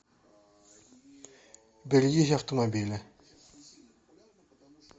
берегись автомобиля